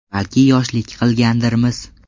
Balki yoshlik qilgandirmiz.